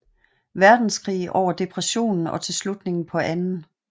Verdenskrig over Depressionen og til slutningen på 2